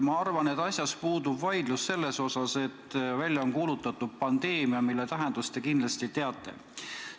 Ma arvan, et asjas puudub vaidlus selle üle, et välja on kuulutatud pandeemia, mille tähendust te kindlasti teate.